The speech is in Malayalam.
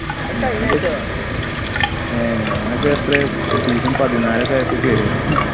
അത് കഴിഞ്ഞാഴ്ച ടാ ഏർ ഞാനൊക്കെ എത്രയാ season പതിനാല് ഒക്കെ ആയപ്പോ കേറിയതാ ഹ്